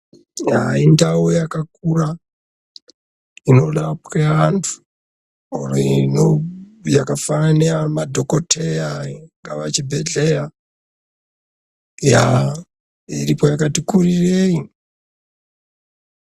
Yaa indau yakakura inoda kuuya vanhu yakafanana neyamadhokodheya ingaa chibhedhleya. Yaa iripo yakati kurirei.